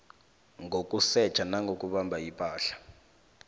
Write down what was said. ngokusetjha nangokubamba ipahla